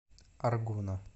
аргуна